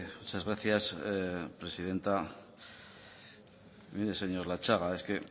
muchas gracias presidenta mire señor latxaga es que